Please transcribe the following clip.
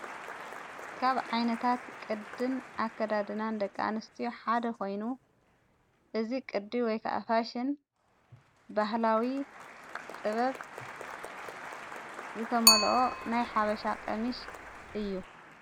ካብ ዓይነታት ቅድን ኣከዳድናን ደቃንስቲዮ ሓደ ኾይኑ ፤እዝ ቕዲ ወይከኣፋሽን ባህላዊ ጥበብ ዘተመልኦ ናይ ሓበሻ ቐሚሽ እዩ።